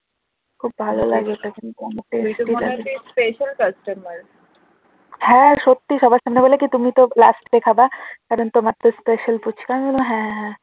হ্যাঁ সত্যি সবার সামনে বলে কি তুমি তো লাস্ট খাবে তোমার তো special ফুচকা আমি বলি হ্যাঁ হ্যাঁ